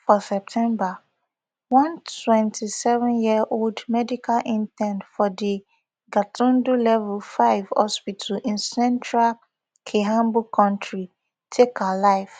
for september one twenty-sevenyearold medical intern for di gatundu level five hospital in central kiambu county take her life